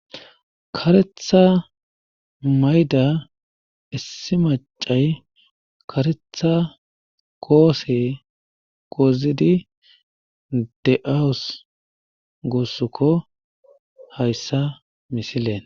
Karetha mayida issi maccay karetha koose goozidi de7awus guusuko hayssa misilen.